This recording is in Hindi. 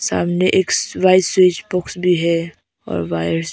सामने एक वाइस स्विच बॉक्स भी है और वायर्स --